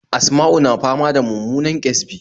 Asma'u na fama da mummunan ƙyasbi